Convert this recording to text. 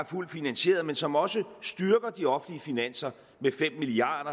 fuldt finansieret men som også styrker de offentlige finanser med fem milliard